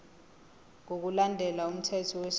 ngokulandela umthetho wesilungu